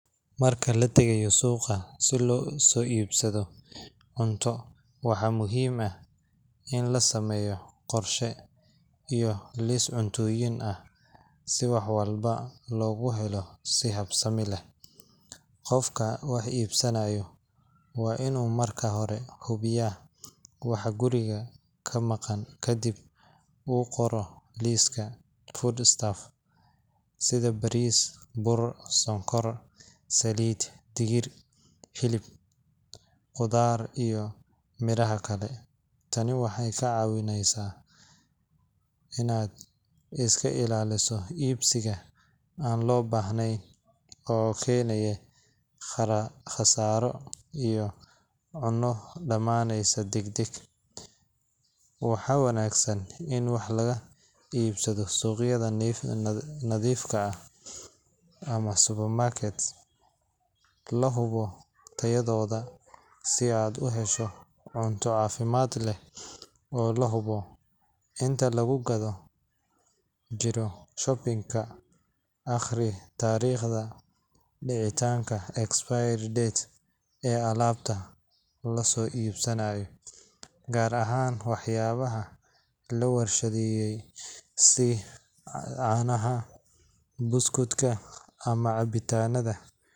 Marka la tageyo suqa si loso ibsado cunto waxaa muhiim ah in la sameyo qorsha iyo lis cuntoyin ah si walba logu helo, qofka wax ibsanayo waa in u marka hore hubiya guriga kamaqan kadiib u qoro liska food staff sitha baris buur sokor saliid digir hilib qudhaar iyo miraha kale, tani waxee ka cawineysa in aad iska ilaliso ibsiga an lo bahnen oo kenaya qasara, cuno damaneysa dag dag waxaa wanagsan in wax sitha suqyaada cadhifka ah ama supermarket lahubo tayadoda si aad u hesho cunta cafimaad leh oo lahubo inta lagu gadhan jiro shopping ka aqri tariqta dicitanka ama expire date ka laso ibsanaya gar ahan wax yabaha la warshaadeyey si canaha buskuudka ama cabitanadha.